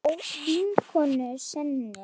Hjá vinkonu sinni?